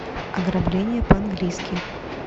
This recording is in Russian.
ограбление по английски